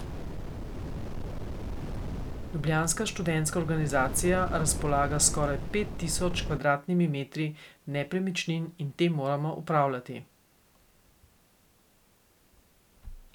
Ljubljanska študentska organizacija razpolaga s skoraj pet tisoč kvadratnimi metri nepremičnin in te moramo upravljati.